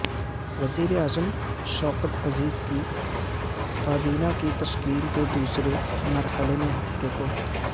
وزیر اعظم شوکت عزیز کی کابینہ کی تشکیل کے دوسرے مرحلے میں ہفتے کو